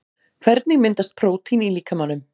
Hvernig myndast prótín í líkamanum?